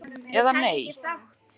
Eða nei.